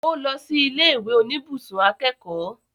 Ó lọ sí ilé ìwé oníbùsùn akẹ́kọ̀ọ́